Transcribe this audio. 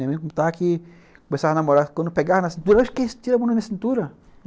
Nem me contar que com essas namoradas, quando pegar na cintura, eu acho que eles tiram a mão da minha cintura.